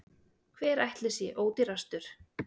Hver ætli sé ódýrastur?